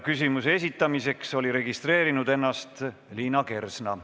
Küsimuse esitamiseks oli ennast registreerinud Liina Kersna.